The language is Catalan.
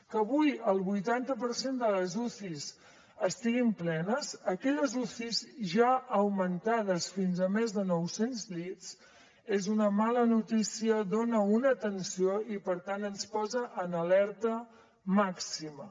que avui el vuitanta per cent de les ucis estiguin plenes aquelles uci ja augmentades fins a més de nou cents llits és una mala notícia dona una tensió i per tant ens posa en alerta màxima